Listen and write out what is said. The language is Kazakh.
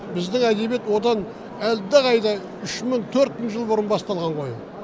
біздің әдебиет одан әлдеқайда үш мың төрт мың жыл бұрын басталған ғой